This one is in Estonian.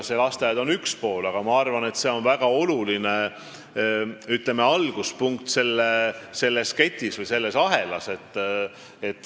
Lasteaed on üks pool, aga ma arvan, et see on väga oluline, ütleme, alguspunkt selles ketis või ahelas.